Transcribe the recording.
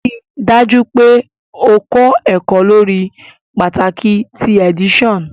Rii daju pe o kọ ẹkọ lori pataki ti edition